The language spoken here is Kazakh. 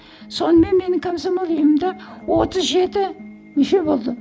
сонымен менің комсомол ұйымымда отыз жеті мүше болды